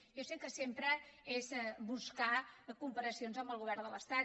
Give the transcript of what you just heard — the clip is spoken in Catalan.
jo sé que sempre és buscar comparacions amb el govern de l’estat